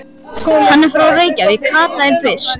Hann er frá Reykjavík, Kata var byrst.